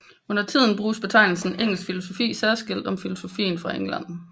Undertiden bruges betegnelsen engelsk filosofi særskilt om filosofien fra England